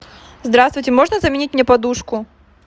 здравствуйте можно заменить мне подушку